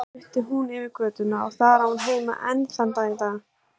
Svo flutti hún yfir götuna og þar á hún heima enn þann dag í dag.